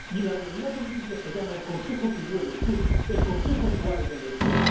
Y la realidad en Libia se llama el Consejo Tubu en el sur, el Consejo Tuareg en el sur